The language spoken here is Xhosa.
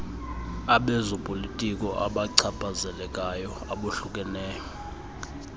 abezopolitiko abachaphazelekayo abohlukeneyo